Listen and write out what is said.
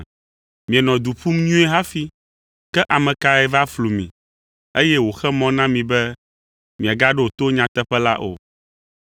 Mienɔ du ƒum nyuie hafi. Ke ame kae va flu mi, eye wòxe mɔ na mi be miagaɖo to nyateƒe la o?